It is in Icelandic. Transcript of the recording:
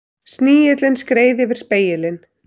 Snigillinn skreið yfir spegilinn.